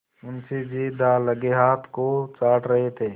मुंशी जी दाललगे हाथ को चाट रहे थे